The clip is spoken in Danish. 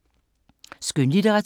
Skønlitteratur